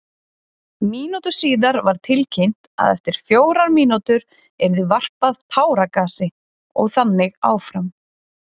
Mínútu síðar var tilkynnt að eftir fjórar mínútur yrði varpað táragasi og þannig áfram.